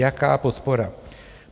- Jaká podpora?